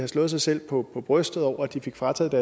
slået sig selv på brystet over at de fik frataget